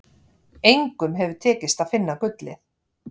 Engum hefur tekist að finna gullið.